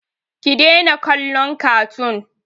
Ki daina kallon katun!